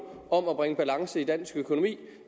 om at bringe balance i dansk økonomi